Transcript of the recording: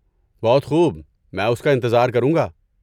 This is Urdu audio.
بہت خوب، میں اس کا انتظار کروں گا۔